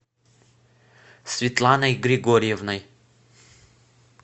светланой григорьевной